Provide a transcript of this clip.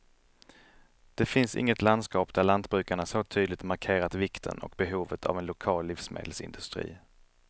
Det finns inget landskap där lantbrukarna så tydligt markerat vikten och behovet av en lokal livsmedelsindustri.